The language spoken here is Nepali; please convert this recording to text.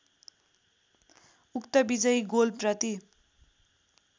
उक्त विजयी गोलप्रति